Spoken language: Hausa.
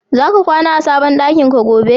Zaka kwana a sabon ɗakin ka gobe?